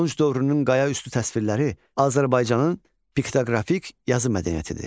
Tunç dövrünün qayaüstü təsvirləri Azərbaycanın piktoqrafik yazı mədəniyyətidir.